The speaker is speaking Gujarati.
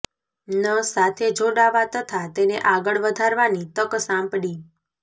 ન સાથે જોડાવા તથા તેને આગળ વધારવાની તક સાંપડી